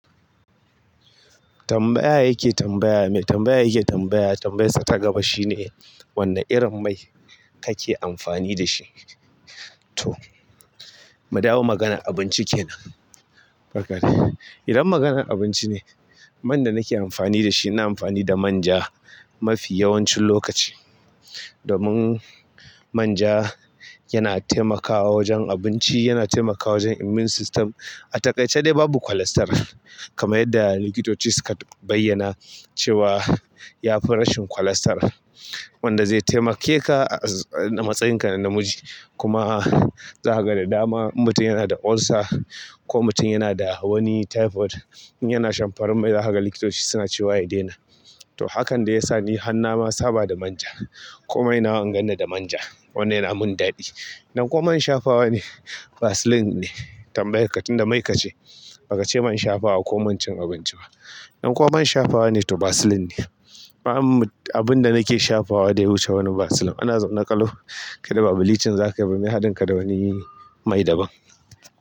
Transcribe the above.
Tambaya yake tambaya mai tambaya yake tambaya tambayarsa ta gaba shine wanna irin mai kake amfani da shi? To, mu dawo maganan abinci kenan. Idan maganan abinci ne, man da nake amfani shi ina amfani da manja mafi yawancin lokaci domin manja yana taimakawa wajen abinci, yana taimakawa wajen immune system. A takaice dai babu cholesterol. Kamar yadda likitoci su ka bayyana cewa yafi rashin cholesterol wanda zai taimake ka a matsayinka na namiji. Kuma za ka ga da dama in mutum yana da ulcer ko mutum yana da wani typhoid in yana shan farar mai, zahaga likitoci suna cewa ya daina. To hakan dai yasa ni har na ma saba da manja ko mai nawa in ganni da manja wannan yana min daɗi. Dan ko man shafawa ne Vaseline ne tambayar ka tun da mai ka ce. Baka ce man shafawa ko man cin abinci ba. In kuma man shafawa ne to Vaseline ba abinda nake shafawa da ya wuce wani Vaseline ana zaune ƙalau kai da ba bleaching zakayi ba mai ye haɗin ka da wani mai daban.